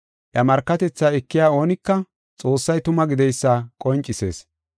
Iya markatethaa ekiya oonika Xoossay tuma gideysa qoncisees.